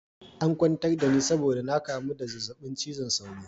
An kwantar da ni saboda na kamu da zazzabin cizon sauro.